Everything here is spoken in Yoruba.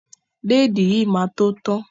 Lẹ́ẹ́di yìí máa tó tán.